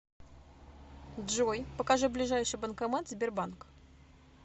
джой покажи ближайший банкомат сбербанк